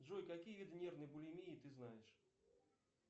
джой какие виды нервной булимии ты знаешь